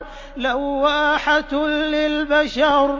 لَوَّاحَةٌ لِّلْبَشَرِ